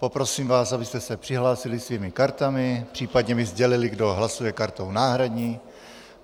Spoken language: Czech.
Poprosím vás, abyste se přihlásili svými kartami, případně mi sdělili, kdo hlasuje kartou náhradní.